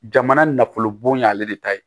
Jamana nafolo bon y'ale de ta ye